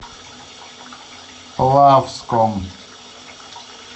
плавском